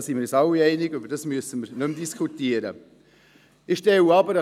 Hierin sind wir uns alle einig, darüber müssen wir nicht mehr diskutieren.